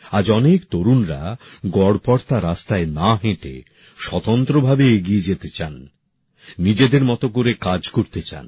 আজ অনেক তরুণ তরুনী গড়পড়তা রাস্তায় না হেঁটে স্বতন্ত্র ভাবে এগিয়ে যেতে চান নিজেদের মত করে কাজ করতে চান